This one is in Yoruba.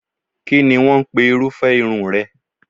Kínni wọ́n ń pe irúfẹ́ irun rẹ?